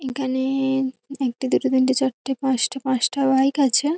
এখানে-এ-এ একটা দুটো তিনটে চারটে পাঁচটা। পাঁচটা বাইক আছে।